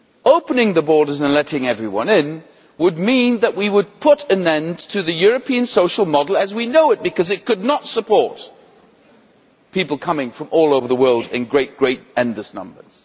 Opening the borders and letting everyone in would mean that we would put an end to the European social model as we know it, because it could not support people coming from all over the world in great, endless numbers.